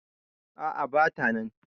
A`a bata nan